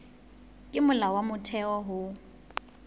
ke molao wa motheo ho